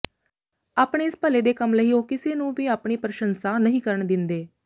ਆਪਣੇ ਇਸ ਭਲੇ ਦੇ ਕੰਮ ਲਈ ਉਹ ਕਿਸੇ ਨੂੰ ਵੀ ਆਪਣੀ ਪ੍ਰਸ਼ੰਸਾ ਨਹੀਂ ਕਰਨ ਦਿੰਦੇ